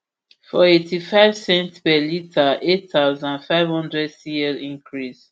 smnrp for ip eightyfive cents per litre eight thousand, five hundred cl increase